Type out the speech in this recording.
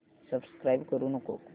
subscribe करू नको